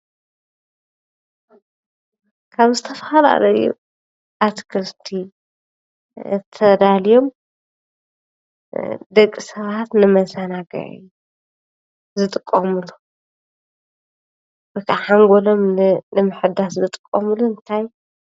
ካብ ዝተፈላለዩ አትክልቲ ተዳልዮም ደቂ ሰባት ንመዛናግዒ ዝጥቀምሉ እቲ ሓንጎሎም ንምሕዳስ ዝጥቀምሉ እንታይ